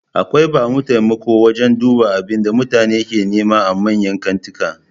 Akwai bamu taimakawa wajan duba abinda mutum ke nema a manyan kantika